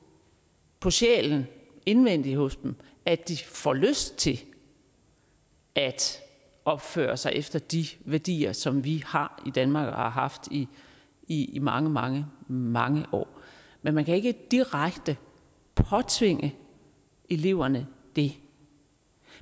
på sjælen indvendigt hos dem at de får lyst til at opføre sig efter de værdier som vi har i danmark og har haft i i mange mange mange år men man kan ikke direkte påtvinge eleverne det